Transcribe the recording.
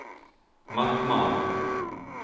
Mattmar